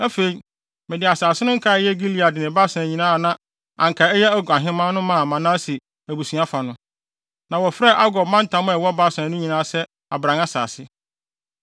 Afei, mede asase no nkae a ɛyɛ Gilead ne Basan nyinaa a na anka ɛyɛ Og ahemman no maa Manase abusua fa no. Na wɔfrɛ Argob mantam a ɛwɔ Basan no nyinaa se Abran asase.